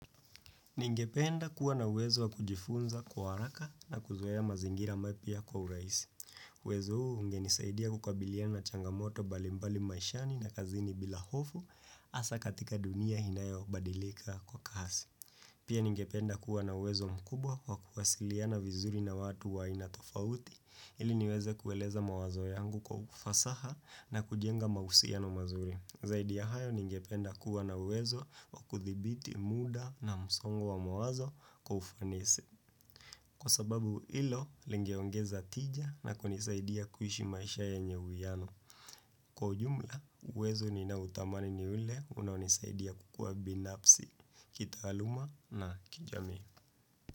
Ningependa kuwa na uwezo wa kujifunza kwa haraka na kuzuea mazingira maipya kwa uraisi. Wezo huu ungenisaidia kukabiliana changamoto balimbali maishani na kazini bila hofu asa katika dunia hinayo badilika kwa kasi. Pia ningependa kuwa na uwezo mkubwa wa kuwasiliana vizuri na watu wa inatofauti ili niweze kueleza mawazo yangu kwa ufasaha na kujenga mahusino na mazuri. Zaidi ya hayo ningependa kuwa na uwezo wa kuthibiti muda na msongo wa mawazo kufanisi. Kwa sababu hilo, lingeongeza tija na kunisaidia kuhishi maisha yenye huwiano. Kwa jumla, uwezo ninautamani ni ule unaunisaidia kukua binafsi. Kitaaluma na kijami.